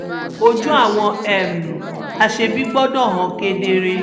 ojú àwọn um aṣebi gbọ́dọ̀ hàn kedere ni